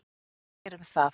Þeir um það.